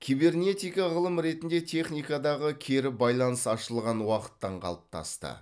кибернетика ғылым ретінде техникадағы кері байланыс ашылған уақыттан қалыптасты